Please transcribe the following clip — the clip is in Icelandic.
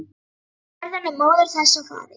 Jörðin er móðir þess og faðir.